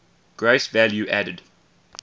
gross value added